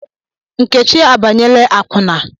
Nkechi abanyela akwụna.